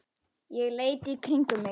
Ég leit í kringum mig.